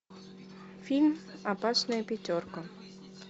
фильм опасная пятерка